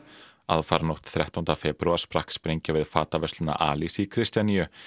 aðfaranótt þrettánda febrúar sprakk sprengja við alis í Kristjaníu